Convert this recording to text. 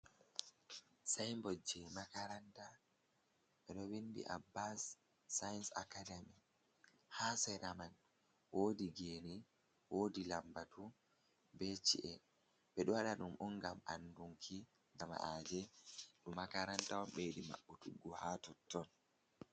Sainbod je makaranta, beɗo windi abbas sayins ackademi, ha sera man wodi geni, wodi lambatu, be ci'e on ngam andunki jama’aje makaranta on ɓe yiɗi maɓɓu tuggu ha totton.